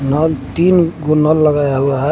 नल तीन गुना लगाया हुआ है।